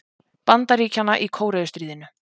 Bandaríkjanna í Kóreustríðinu.